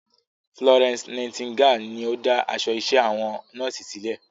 Florence Nightingale ni o dá aṣọ iṣẹ́ àwọn nọ́ọ̀sì sílẹ̀.